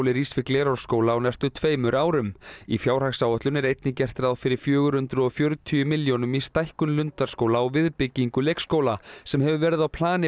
rís við Glerárskóla á næstu tveimur árum í fjárhagsáætlun er einnig gert ráð fyrir fjögur hundruð og fjörutíu milljónum í stækkun Lundarskóla og viðbyggingu leikskóla sem hefur verið á plani